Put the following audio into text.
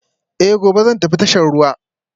Eh, gobe zan tafi tashar ruwa